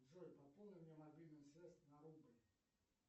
джой пополни мне мобильную связь на рубль